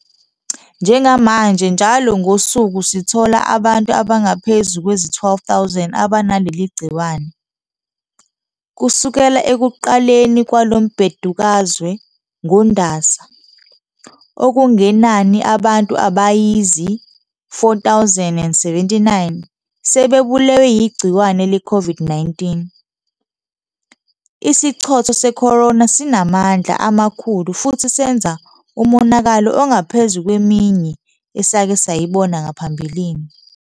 Njengamanje njalo ngosuku sithola abantu abangaphezu kwezi-12,000 abanaleli gciwane. Kusukela ekuqaleni kwalo mbhedukazwe ngoNdasa, okungenani abantu abayizi-4,079 sebebulewe yigciwane leCOVID-19. Isichotho se-corona sinamandla amakhulu futhi senza umonakalo ongaphezu kweminye esake sayibona ngaphambilini.